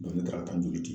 ne taara di